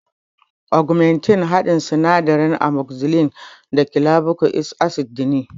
Ugmentin haɗin sinadaran amogzisilin da kilabuka ik asid ne